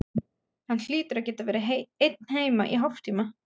Hann hlýtur að geta verið einn heima í hálftíma.